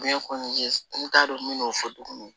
n t'a dɔn n bɛ n'o fɔ tugun